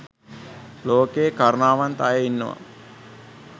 ලෝකයේ කරුණාවන්ත අය ඉන්නවා